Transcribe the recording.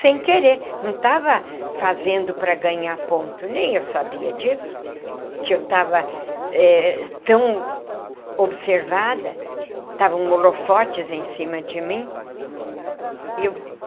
Sem querer, não estava fazendo para ganhar ponto, nem eu sabia disso, que eu estava eh tão observada, estavam holofotes em cima de mim e eu.